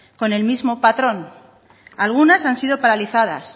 con el mismo patrón algunas han sido paralizadas